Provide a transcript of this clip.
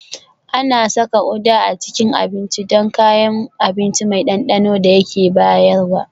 Ana saka Uda a cikin abinci don kayan abinci mai ɗanɗanon da yake bayarwa